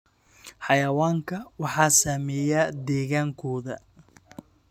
Xayawaanka waxaa saameeya deegaankooda.